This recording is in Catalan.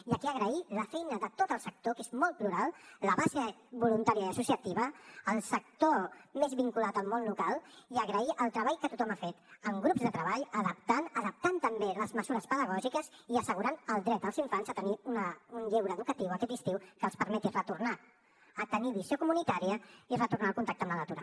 i aquí agrair la feina de tot el sector que és molt plural la base voluntària i associativa el sector més vinculat al món local i agrair el treball que tothom ha fet en grups de treball adaptant també les mesures pedagògiques i assegurant el dret dels infants a tenir un lleure educatiu aquest estiu que els permeti retornar a tenir visió comunitària i retornar al contacte amb la natura